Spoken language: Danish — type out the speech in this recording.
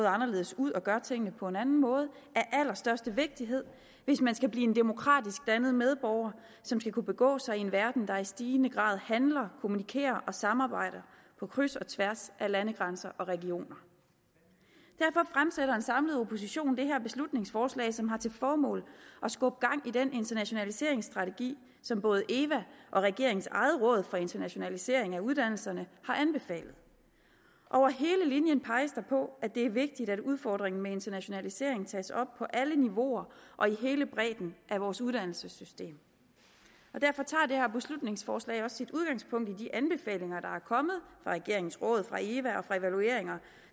anderledes ud og gør tingene på en anden måde af allerstørste vigtighed hvis man skal blive en demokratisk dannet medborger som skal kunne begå sig i en verden der i stigende grad handler kommunikerer og samarbejder på kryds og tværs af landegrænser og regioner derfor fremsætter en samlet opposition det her beslutningsforslag som har til formål at skubbe gang i den internationaliseringsstrategi som både eva og regeringens eget råd for internationalisering af uddannelserne har anbefalet over hele linjen peges der på at det er vigtigt at udfordringen med internationaliseringen tages op på alle niveauer og i hele bredden af vores uddannelsessystem derfor tager det her beslutningsforslag også sit udgangspunkt i de anbefalinger der er kommet fra regeringens råd fra eva og fra evalueringer